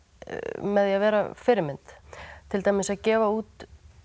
með því að vera fyrirmynd til dæmis að gefa út